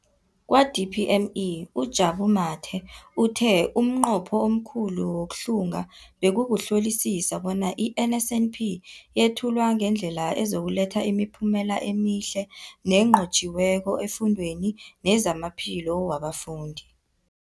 Kwa-DPME, uJabu Mathe, uthe umnqopho omkhulu wokuhlunga bekukuhlolisisa bona i-NSNP yethulwa ngendlela ezokuletha imiphumela emihle nenqotjhiweko efundweni nezamaphilo wabafundi.